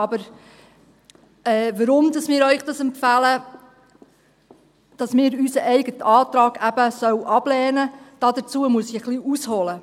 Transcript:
Aber warum wir Ihnen empfehlen, dass man unseren eigenen Antrag eben ablehnen sollte, dazu muss ich ein wenig ausholen.